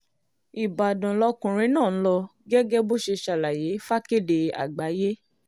ìbàdàn lọkùnrin náà ń lọ gẹ́gẹ́ bó ṣe ṣàlàyé fàkèdé àgbáyé